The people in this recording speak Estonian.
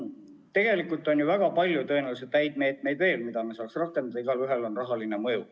Tegelikult on ju väga palju tõenäoliselt häid meetmeid, mida me saaks rakendada, ja igaühel on rahaline mõju.